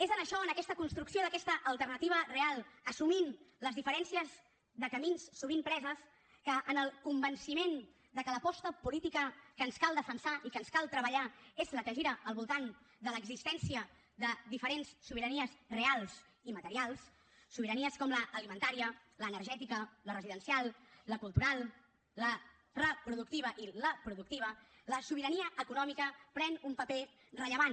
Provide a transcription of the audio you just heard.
és en això en aquesta construcció d’aquesta alternativa real assumint les diferències de camins sovint preses que en el convenciment que l’aposta política que ens cal defensar i que ens cal treballar és la que gira al voltant de l’existència de diferents sobiranies reals i materials sobiranies com l’alimentària l’energètica la residencial la cultural la reproductiva i la productiva la sobirania econòmica pren un paper rellevant